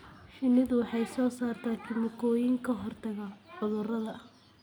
Shinnidu waxay soo saartaa kiimikooyin ka hortaga cudurada.